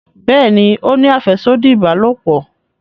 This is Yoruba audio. Béèni o ní afẹsodi ìbálòpọ̀.